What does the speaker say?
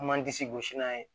An m'an disi gosi n'a ye